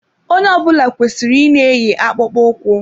Onye ọ bụla kwesịrị ị na eyi akpụkpọ ụkwụ.